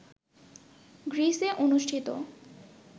গ্রীসে অনুষ্ঠিত